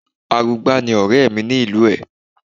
Arugbá ni ọ̀rẹ́ mi ni ìlú ẹ̀